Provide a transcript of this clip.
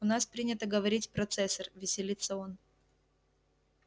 у нас принято говорить процессор веселится он